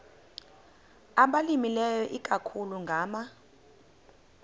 abalimileyo ikakhulu ngama